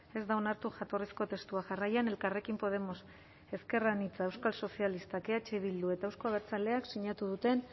ez da onartu jatorrizko testua jarraian elkarrekin podemos ezker anitza euskal sozialistak eh bildu eta euzko abertzaleak sinatu duten